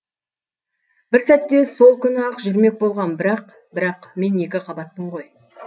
бір сәтте сол күні ақ жүрмек болғам бірақ бірақ мен екі қабатпын ғой